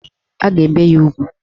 A ga-ebe ya ugwu